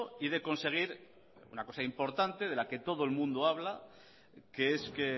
y de conseguir una cosa importante de la que todo el mundo habla que es que